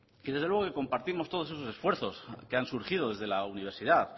y desde luego que compartimos todos esos esfuerzos que han surgido desde la universidad